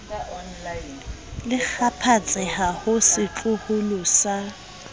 le kgaphatseha ho setloholo sa